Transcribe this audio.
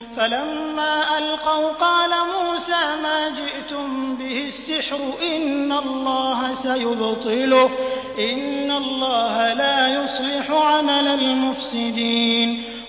فَلَمَّا أَلْقَوْا قَالَ مُوسَىٰ مَا جِئْتُم بِهِ السِّحْرُ ۖ إِنَّ اللَّهَ سَيُبْطِلُهُ ۖ إِنَّ اللَّهَ لَا يُصْلِحُ عَمَلَ الْمُفْسِدِينَ